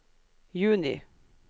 juni